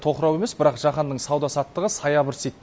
тоқырау емес бірақ жаһанның сауда саттығы саябырсиды